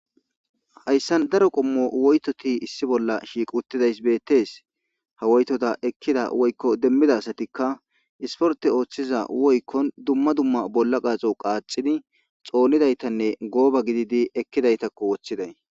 Hayssan daro qommo woytoti issi bolla shiiqi uttidayssa beetees; ha woytota ekkida woykko demmida asatikka isporte ooththiza woykkon dumma dumma bolla qaaxo qaaxidi xoonidaytane gooba gididi ekkidaytako woththiday.